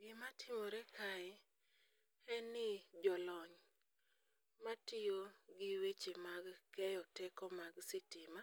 Gimatimore kae en ni jolony matiyo gi weche mag keyo teko mag sitima